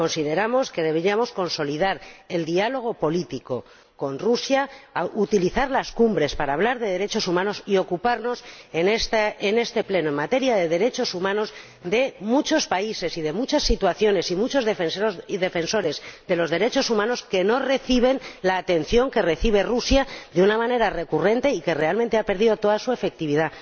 Consideramos que deberíamos consolidar el diálogo político con Rusia y utilizar las cumbres para hablar de derechos humanos, mientras nos ocupamos en esta Cámara, en materia de derechos humanos, de muchos países, muchas situaciones y muchos defensores de los derechos humanos que no reciben la atención que recibe Rusia de una manera recurrente y que realmente ha perdido toda su efectividad.